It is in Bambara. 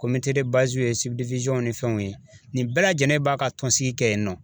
komite de baziw ye sibidiwizɔnw ni fɛnw ye ni fɛnw ye nin bɛɛ lajɛlen b'a ka tɔn sigi kɛ yen nɔ